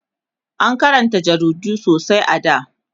an Karanta jaridu sosai a da